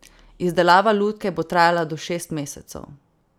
Izdelava lutke bo trajala do šest mesecev.